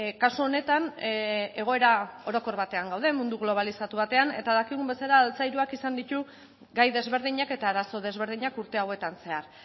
kasu honetan egoera orokor batean gaude mundu globalizatu batean eta dakigun bezala altzairuak izan ditu gai desberdinak eta arazo desberdinak urte hauetan zehar